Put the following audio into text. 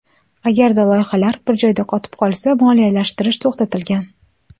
Agarda loyihalar bir joyda qotib qolsa, moliyalashtirish to‘xtatilgan.